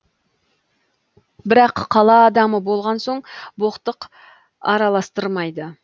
бірақ қала адамы болған соң боқтық араластырмайды